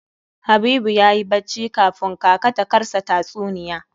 Habibu yayi bacci kafun kaka ta karsa tatsuniya.